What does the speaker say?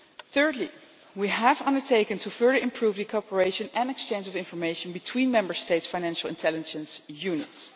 Thirdly, we have undertaken to further improve the cooperation and exchange of information between Member States' financial intelligence units.